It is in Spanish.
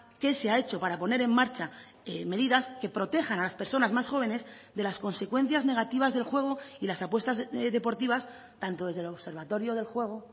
qué se ha hecho para poner en marcha medidas que protejan a las personas más jóvenes de las consecuencias negativas del juego y las apuestas deportivas tanto desde el observatorio del juego